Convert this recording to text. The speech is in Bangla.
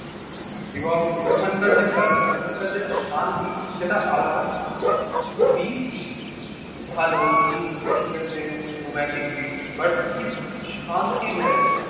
এবং ওখানকার যা কালচার ওখানকার যে একটা শান্তি সেটা আলাদাই। বিচ ভালো বিচ ঠিকাছে romantic beach but ঠিক শান্তির জায়গা না।